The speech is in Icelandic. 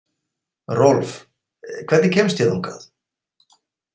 Rolf, hvernig kemst ég þangað?